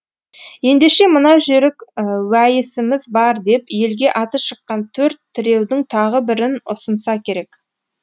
ендеше мына жүйрік уәйісіміз бар деп елге аты шыққан төрт тіреудің тағы бірін ұсынса керек